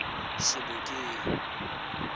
sebokeng